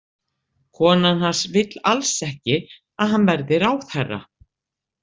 Konan hans vill alls ekki að hann verði ráðherra.